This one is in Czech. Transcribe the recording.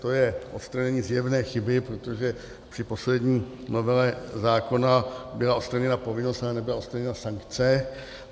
To je odstranění zjevné chyby, protože při poslední novele zákona byla odstraněna povinnost, ale nebyla odstraněna sankce.